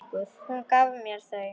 Hún gaf mér þau.